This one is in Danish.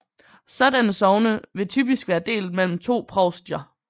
Sådanne sogne vil typisk være delt mellem to provstier